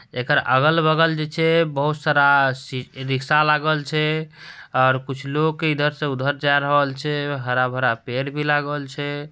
एकर अगल-बगल जे छे बहुत सारा सी रिक्शा लागल छे और कुछ लोग इधर से उधर जा रहेल छे हरा-भरा पेड़ भी लागल छे।